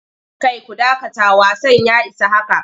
Kai ku dakata wasan ya isa haka!